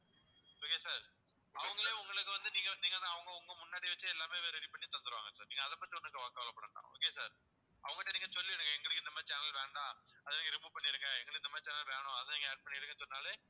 okay sir அவங்களே உங்களுக்கு வந்து நீங்க வந்து அவங்க உங்க முன்னாடி வச்சே எல்லாமே ready பண்ணி தந்துடுவாங்க sir நீங்க அதை பத்தி ஒண்ணும் கவலைப்பட வேண்டாம் okay வா sir அவங்க கிட்ட நீங்க சொல்லிடுங்க எங்களுக்கு இந்த மாதிரி channel வேண்டாம் அதை நீங்க remove பண்ணிடுங்க எங்களுக்கு இந்த மாதிரி channel வேணும் அதை நீங்க add பண்ணிடுங்கன்னு சொன்னாலே